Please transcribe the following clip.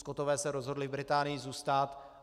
Skotové se rozhodli v Británii zůstat.